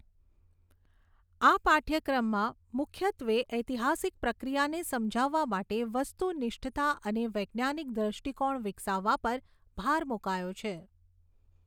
આ પાઠ્યક્રમમાં મુખ્યત્વે ઐતિહાસિક પ્રક્રિયાને સમજાવવા માટે વસ્તુનિષ્ઠતા અને વૈજ્ઞાનિક દૃષ્ટિકોણ વિકસાવવા પર ભાર મુકાયો છે.